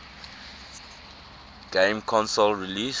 game console released